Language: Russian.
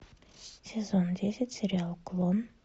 сезон десять сериал клон